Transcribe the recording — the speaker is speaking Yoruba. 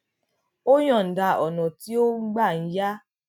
ó yòǹda ọnà tí ó gbà ń ya